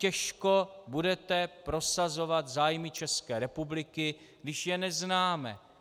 Těžko budete prosazovat zájmy České republiky, když je neznáme.